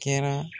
Kɛra